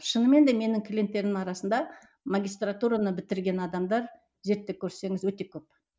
шынымен де менің клиенттерім арасында магистратураны бітірген адамдар зерттеп көрсеңіз өте көп